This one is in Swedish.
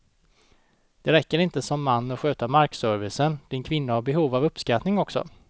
Det räcker inte som man att sköta markservicen, din kvinna har behov av uppskattning också.